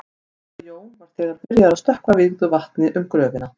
Herra Jón var þegar byrjaður að stökkva vígðu vatni um gröfina.